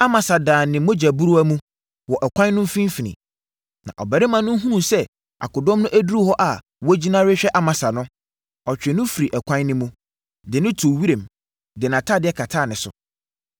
Amasa daa ne mogyabura mu, wɔ ɛkwan no mfimfini. Na ɔbarima no hunuu sɛ akodɔm no aduru hɔ a wɔagyina rehwɛ Amasa no, ɔtwee no firii ɛkwan no mu, de no too wiram, de atadeɛ kataa ne so.